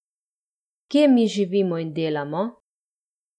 Kje mi živimo in delamo?